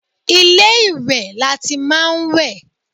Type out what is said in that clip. Ilé ìwẹ̀ lati máa ń wẹ̀.